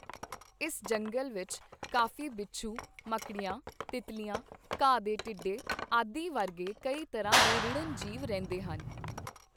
ਇਸ ਜੰਗਲ ਵਿੱਚ ਕਾਫ਼ੀ ਬਿੱਛੂ, ਮੱਕੜੀਆਂ, ਤਿੱਤਲੀਆਂ, ਘਾਹ ਦੇ ਟਿੱਡੇ ਆਦਿ ਵਰਗੇ ਕਈ ਤਰ੍ਹਾਂ ਦੇ ਰੀੜਹਿਣ ਜੀਵ ਰਹਿੰਦੇ ਹਨ।